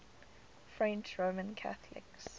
french roman catholics